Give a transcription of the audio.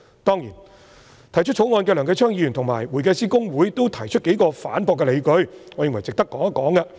當然，提出《條例草案》的梁繼昌議員及公會均提出數個反駁的理據，我認為值得談談。